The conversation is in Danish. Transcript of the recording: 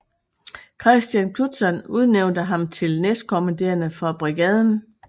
Kristian Knudtzon udnævnte ham til næstkommanderende for Brigaden